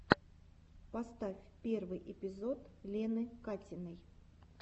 поставь первый эпизод лены катиной